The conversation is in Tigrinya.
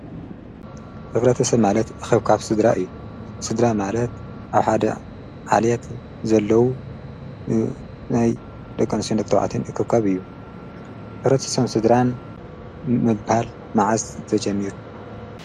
ዕብረ ትሰ ማለት ኣኺብካፍ ሥድራ እዩ ሥድራ ማለት ኣብሓደ ዓልያት ዘለዉ ናይ ደኾንሴን ነክተውዓትን እኽከብ እዩ ኅርስሰም ሥድራን ምባል መዓዝ ዘጀሚሩ